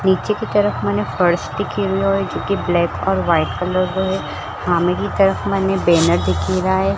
निचे की तरफ मने फर्श की जो की ब्लैक और व्हाइट कलर रो है सामने की तरफ मने बेनर दिखी रा है।